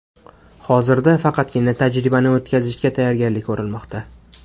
Hozirda faqatgina tajribani o‘tkazishga tayyorgarlik ko‘rilmoqda.